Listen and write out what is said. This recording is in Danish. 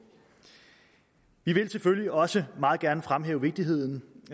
vi vil selvfølgelig også meget gerne fremhæve vigtigheden